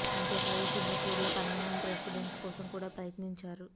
అంతే కాదు సింగపూర్ లో పర్మినెంట్ రెసిడెన్స్ కోసం కూడా ప్రయత్నించారు